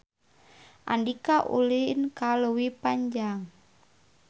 Andika ulin ka Leuwi Panjang